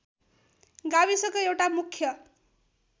गाविसको एउटा मुख्य